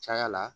Caya la